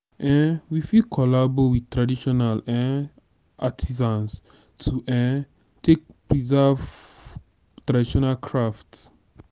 um we fit collabo with traditional um artisans to um take preserve traditional craft